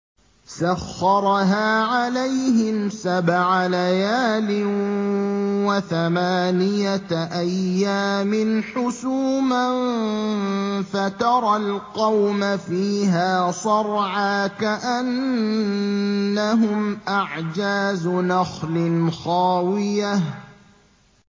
سَخَّرَهَا عَلَيْهِمْ سَبْعَ لَيَالٍ وَثَمَانِيَةَ أَيَّامٍ حُسُومًا فَتَرَى الْقَوْمَ فِيهَا صَرْعَىٰ كَأَنَّهُمْ أَعْجَازُ نَخْلٍ خَاوِيَةٍ